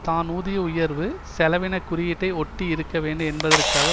தான் ஊதிய உயர்வு செலவின குறியீட்டை ஒட்டி இருக்க வேண்டும் என்பதற்காக